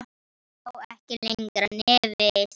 Sá ekki lengra nefi sínu.